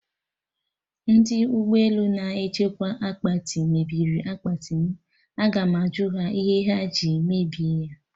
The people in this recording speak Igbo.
Ndị ụgbọ elu na-echekwa akpati mebiri akpati m, Agam ajụ ha ihe ha ji mebie ya